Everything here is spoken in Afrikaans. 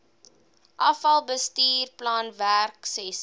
afal bestuursplan werksessies